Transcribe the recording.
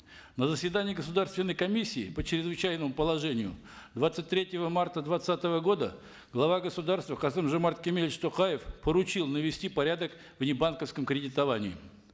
на заседании государственной комиссии по чрезвычайному положению двадцать третьего марта двадцатого года глава государства касым жомарт кемелевич токаев поручил навести порядок в небанковском кредитовании